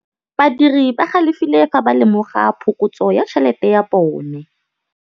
Badiri ba galefile fa ba lemoga phokotsô ya tšhelête ya bone.